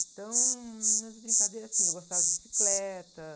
Então, as brincadeiras, assim, eu gostava de bicicleta.